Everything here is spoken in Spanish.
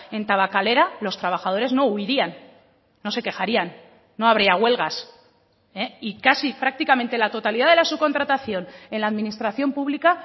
en tabakalera los trabajadores no huirían no se quejarían no habría huelgas y casi prácticamente la totalidad de la subcontratación en la administración pública